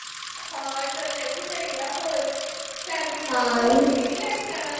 ਹਾਂ ਚਲ ਇਹ ਵੀ ਸਹੀ ਆ। ਹੋਰ, family member ਹੋਰ ਕੋਈ ਨੀਂ ਲੈ ਕੇ ਜਾਣਾ।